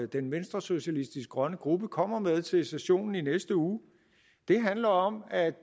den venstresocialistiske grønne gruppe kommer med til sessionen i næste uge det handler om at